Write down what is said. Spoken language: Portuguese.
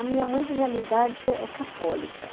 A minha mãe, na realidade, é católica.